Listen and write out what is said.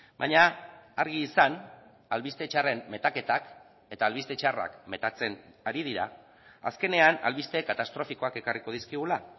baina argi izan albiste txarren metaketak eta albiste txarrak metatzen ari dira azkenean albiste katastrofikoak ekarriko dizkigula